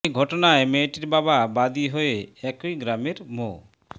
এ ঘটনায় মেয়েটির বাবা বাদি হয়ে একই গ্রামের মো